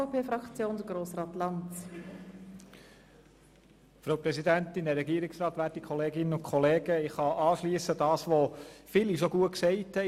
Ich kann an das anschliessen, was viele Vorredner bereits treffend gesagt haben.